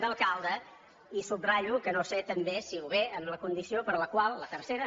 de i subratllo que no sé també si ve en la condició per la qual la tercera